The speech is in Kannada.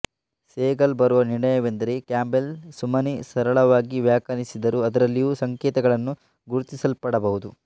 ಸೇಗಲ್ ಬರುವ ನಿರ್ಣಯವೆಂದರೆ ಕ್ಯಾಂಬೆಲ್ಲ್ ಸುಮ್ಮನೆ ಸರಳವಾಗಿ ವ್ಯಾಖ್ಯಾನಿಸಿದರೂ ಅದರಲ್ಲಿರುವ ಸಂಕೇತಗಳನ್ನು ಗುರುತಿಸಲ್ಪಡಬಹುದು